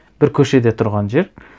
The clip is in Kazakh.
бір көшеде тұрған жер